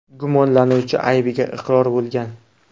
Gumonlanuvchi aybiga iqror bo‘lgan.